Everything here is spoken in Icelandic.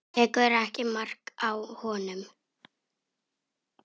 Tekur ekki mark á honum.